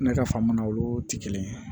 Ne ka faamu na olu tɛ kelen ye